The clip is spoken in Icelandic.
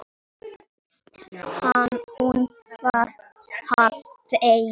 Hún var háð þeim.